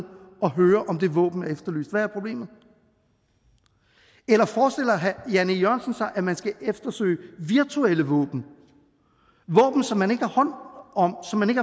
høre om det våben er efterlyst hvad er problemet eller forestiller herre jan e jørgensen sig at man skal eftersøge virtuelle våben våben som man ikke har hånd om som man